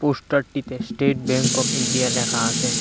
পোস্টারটিতে state bank of India লেখা আসে ।